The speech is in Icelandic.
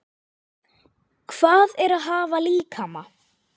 Hvað er að hafa líkama?